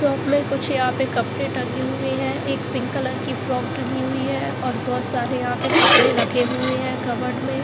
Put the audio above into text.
Shop में कुछ यहां पे कपड़े टंगे हुए हैं एक पिंक कलर की फ्रॉक टंगी हुई है और बहुत सारे यहां पे कपड़े रखे हुए हैं कबड में।